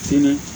Sini